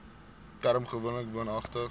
term gewoonlik woonagtig